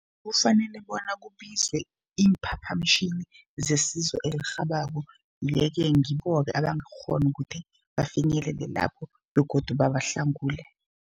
Kufanele bona kubizwe iimphaphamtjhini zesizo elirhabako. Ye-ke ngibo-ke abangakghona ukuthi bafinyelele lapho begodu babahlangule.